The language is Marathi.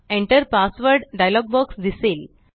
Enter पासवर्ड डायलॉग बॉक्स दिसेल